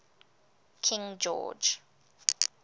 king george